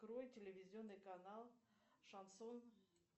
открой телевизионный канал шансон